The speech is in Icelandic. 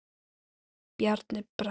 Bjarni Bragi.